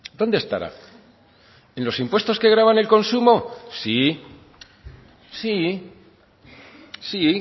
dónde estará en los impuestos que gravan el consumo sí sí sí